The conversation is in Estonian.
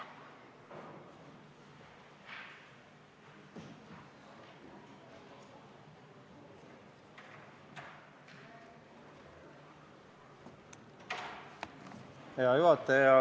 Hea juhataja!